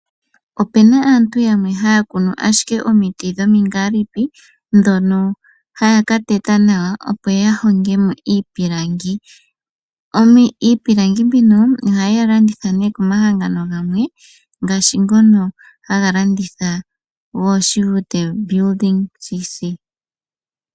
Opena aantu yamwe haya kunu ashike omiti dhomingalipi dhono haya ka teta nawa opo ya hongemo iipilangi. Iipilangi mbino ohaye yi landitha ne komahangano gamwe ngashi ngono haga landitha gooShivute Building C.C.